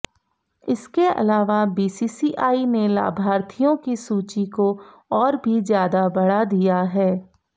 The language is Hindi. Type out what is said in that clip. इसके अलावा बीसीसीआई ने लाभार्थियों की सूची को और भी ज्यादा बढ़ा दिया है